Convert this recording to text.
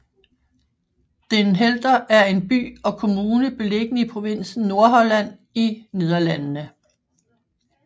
Den Helder er en by og kommune beliggende i provinsen Nordholland i Nederlandene